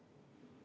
Aitäh!